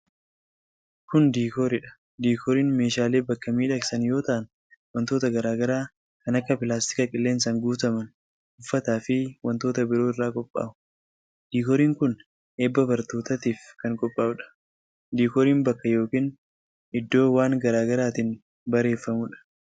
Kun diikoorii dha. Diikooriin meeshaalee bakka miidhagsan yoo ta'an, wantoota garaa garaa kan akka:pilaastika qilleensaan guutaman, uffata fi wantoota biroo irraa qophaa'u. Diikooriin kun, eebba barnootaatif kan qophaa'u dha. Diikooriin bakka yookin iddoo waan garaa garaatin bareeffamuu dha.